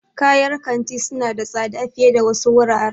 Kayar kanti suna da tsada fiye da wasu wuraren.